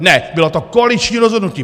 Ne, bylo to koaliční rozhodnutí!